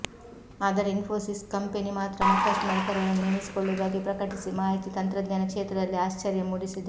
ಆದರೆ ಇನ್ಫೋಸಿಸ್ ಕಂಪನಿ ಮಾತ್ರ ಮತ್ತಷ್ಟು ನೌಕರರನ್ನು ನೇಮಿಸಿಕೊಳ್ಳುವುದಾಗಿ ಪ್ರಕಟಿಸಿ ಮಾಹಿತಿ ತಂತ್ರಜ್ಞಾನ ಕ್ಷೇತ್ರದಲ್ಲಿ ಆಶ್ಚರ್ಯ ಮೂಡಿಸಿದೆ